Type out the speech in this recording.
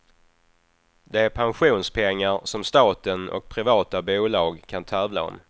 Det är pensionspengar som staten och privata bolag kan tävla om.